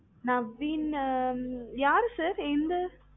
நவீன்னு யாரு sir எந்த